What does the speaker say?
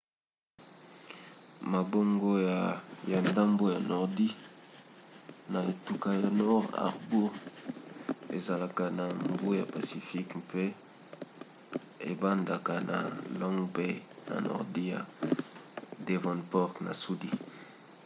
mabongo ya ndambo ya nordi na etuka ya north harbour ezalaka na mbu ya pacifique mpe ebandaka na long bay na nordi ya devonport na sudi